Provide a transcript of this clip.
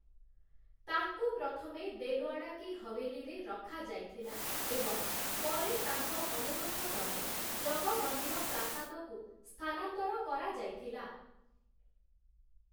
ତାଙ୍କୁ ପ୍ରଥମେ 'ଦେଲୱାଡ଼ା କି ହୱେଲୀ'ରେ ରଖାଯାଇଥିଲା ଏବଂ ପରେ ତାଙ୍କ ଅନୁରୋଧ କ୍ରମେ ଜଗମନ୍ଦିର ପ୍ରାସାଦକୁ ସ୍ଥାନାନ୍ତର କରାଯାଇଥିଲା ।